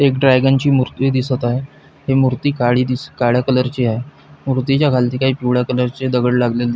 एक ड्रगन ची मूर्ती दिसत आहे ही मूर्ती काळी दिसत काळ्या कलर ची हाय मूर्ती च्या खालती काही पिवळ्या कलरचे दगड लागलेले --